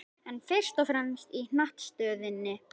En fyrst og fremst í hnattstöðunni.